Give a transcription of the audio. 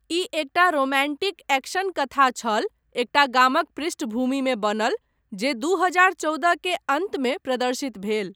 ई एकटा romantic action कथा छल, एकटा गामक पृष्ठभूमिमे बनल, जे दू हजार चौदह के अन्तमे प्रदर्शित भेल।